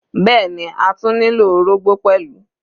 Bẹ́ẹ̀ni, a tún nílò orógbó pẹ̀lú.